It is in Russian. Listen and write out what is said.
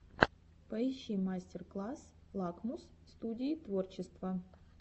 поищи мастер класс лакмус студии творчества